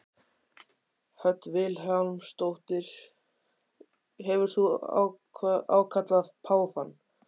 Hödd Vilhjálmsdóttir: Hefur þú ákallað páfann?